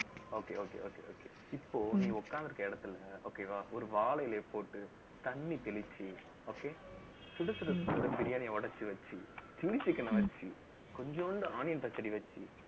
okay okay okay okay இப்போ, நீ உட்கார்ந்து இருக்குற இடத்துல, okay வா ஒரு வாழை இலையை போட்டு, தண்ணி தெளிச்சு, okay சுடச்சுட பிரியாணியை உடைச்சு வச்சு, சில்லி சிக்கனை வச்சு கொஞ்சோண்டு onion பச்சடி வச்சு